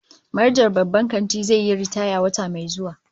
Manajan babban kantin zai yi ritaya wata mai zuwa